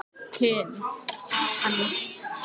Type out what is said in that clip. Höskuldur: Hvað viltu að gerist?